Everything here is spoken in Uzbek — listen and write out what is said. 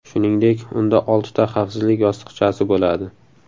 Shuningdek, unda oltita xavfsizlik yostiqchasi bo‘ladi.